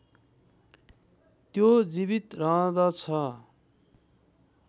त्यो जीवित रहँदछ